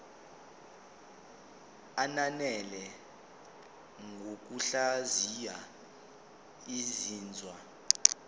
ananele ngokuhlaziya izinzwa